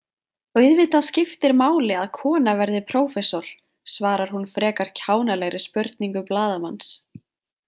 Auðvitað skiptir máli að kona verði prófessor, svarar hún frekar kjánalegri spurningu blaðamanns.